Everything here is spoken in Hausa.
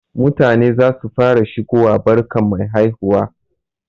Mutane zasu fara shigowa barkan mai haihuwa.